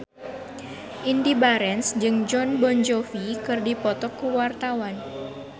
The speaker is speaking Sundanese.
Indy Barens jeung Jon Bon Jovi keur dipoto ku wartawan